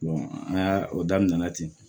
an y'a o daminɛna ten